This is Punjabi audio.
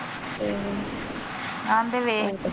ਆਂਦੇ ਵੇਖ,